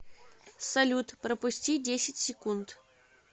салют пропусти десять секунд